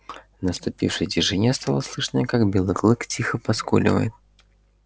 в наступившей тишине стало слышно как белый клык тихо поскуливает